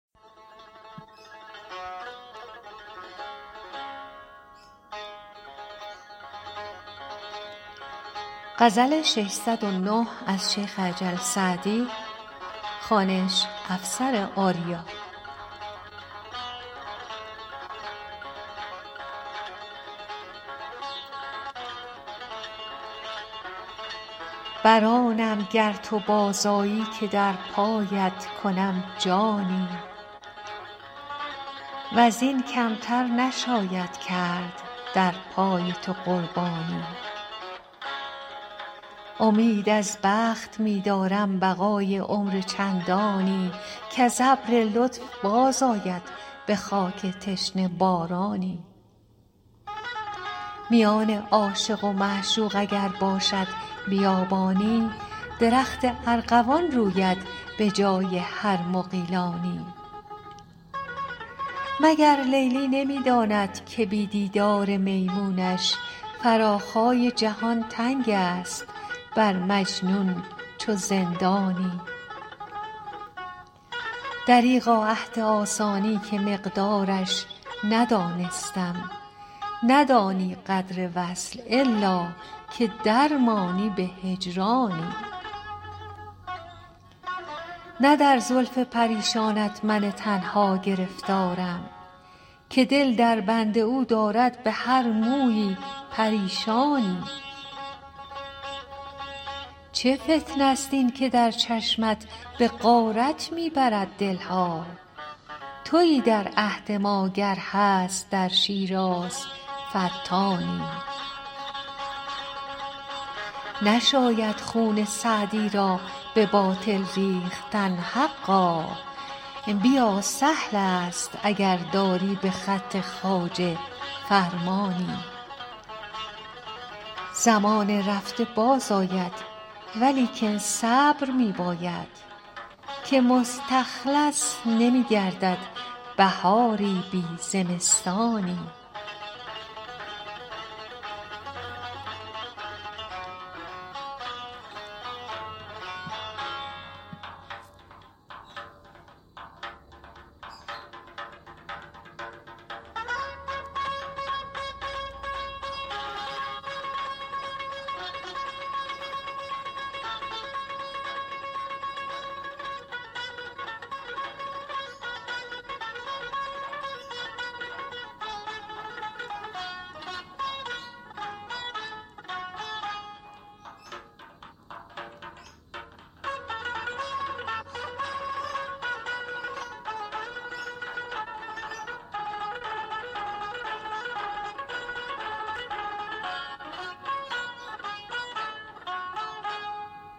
بر آنم گر تو باز آیی که در پایت کنم جانی و زین کم تر نشاید کرد در پای تو قربانی امید از بخت می دارم بقای عمر چندانی کز ابر لطف باز آید به خاک تشنه بارانی میان عاشق و معشوق اگر باشد بیابانی درخت ارغوان روید به جای هر مغیلانی مگر لیلی نمی داند که بی دیدار میمونش فراخای جهان تنگ است بر مجنون چو زندانی دریغا عهد آسانی که مقدارش ندانستم ندانی قدر وصل الا که در مانی به هجرانی نه در زلف پریشانت من تنها گرفتارم که دل در بند او دارد به هر مویی پریشانی چه فتنه ست این که در چشمت به غارت می برد دل ها تویی در عهد ما گر هست در شیراز فتانی نشاید خون سعدی را به باطل ریختن حقا بیا سهل است اگر داری به خط خواجه فرمانی زمان رفته باز آید ولیکن صبر می باید که مستخلص نمی گردد بهاری بی زمستانی